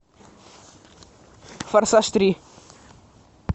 форсаж три